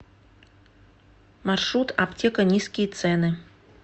маршрут аптека низкие цены